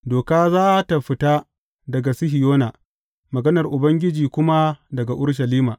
Doka za tă fita daga Sihiyona, maganar Ubangiji kuma daga Urushalima.